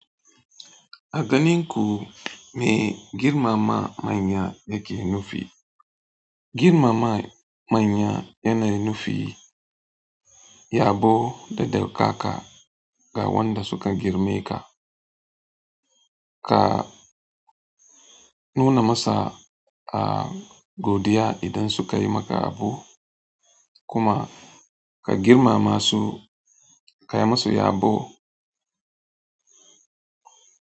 A ganin ku me girmama manya yake nufi? Girmama manya yanayi nufi yabo da daukaka ga wanda suka girme ka. Ka nuna masa a godiya idan suka yi maka abu kuma ka girmama su, ka yi musu yabo.